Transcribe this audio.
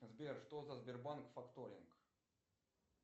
сбер что за сбербанк факторинг